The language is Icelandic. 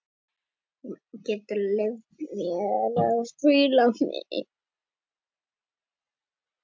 Þurfti fjögur heljarhögg til.